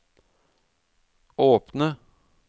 åpne